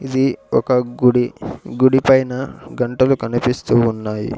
ఇది ఒక గుడి గుడి పైన గంటలు కనిపిస్తూ ఉన్నాయి.